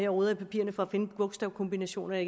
og roder i papirerne for at finde bogstavkombinationerne